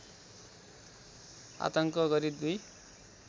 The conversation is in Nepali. आतङ्क गरी दुई